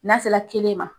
N'a sera kelen ma